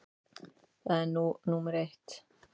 Það er nú númer eitt.